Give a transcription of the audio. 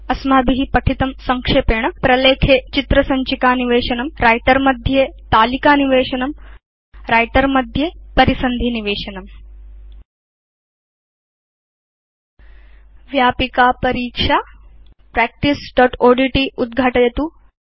अस्माभि यद् पठितं तद् संक्षेपेण प्रलेखे चित्र सञ्चिका निवेशनम् व्रिटर मध्ये तालिकानिवेशनम् व्रिटर मध्ये परिसन्धि निवेशनम् व्यापिका परीक्षा practiceओड्ट् उद्घाटयतु